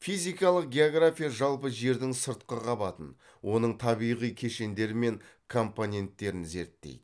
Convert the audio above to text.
физикалық география жалпы жердің сыртқы қабатын оның табиғи кешендері мен компоненттерін зерттейді